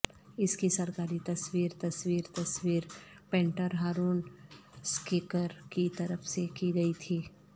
اس کی سرکاری تصویر تصویر تصویر پینٹر ہارون اسکیکر کی طرف سے کی گئی تھی